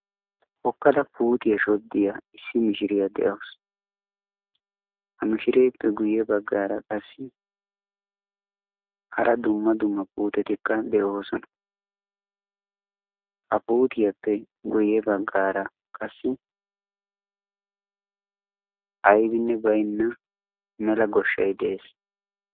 Hokkada puutiya shoddiya issi mishiriyaa de'awus. Ha mishireppe guyye baggara qassi hara dumma dumma puutettila de'oosona. Ha puutiyappe guyue baggaara qassi aybbinne baynna mela goshshay de'ees.